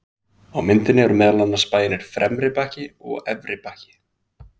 Á myndinni eru meðal annars bæirnir Fremri-Bakki og Efri-Bakki.